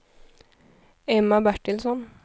Emma Bertilsson